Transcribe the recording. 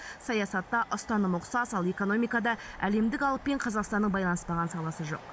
саятта ұстаным ұқсас ал экономикада әлемдік алыппен қазақстанның байланыспаған саласы жоқ